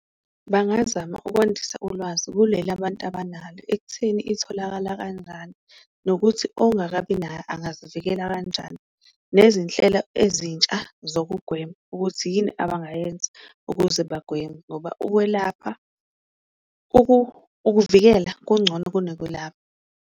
Bangazama ukwandisa ulwazi kuleli abantu abanalo ekutheni itholakala kanjani, nokuthi ongakabi nayo angazivikela kanjani nezinhlelo ezintsha zokugwema, ukuthi yini abangayenza ukuze bagweme ngoba ukwelapha, ukuvikela kungcono kunokwelapha.